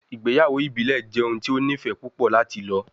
Igbeyawo ibile jẹ ohun ti o nifẹ pupọ lati lọ